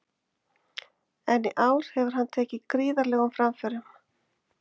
En í ár hefur hann tekið gríðarlegum framförum.